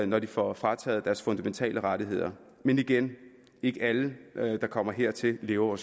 når de får frataget deres fundamentale rettigheder men igen ikke alle der kommer hertil lever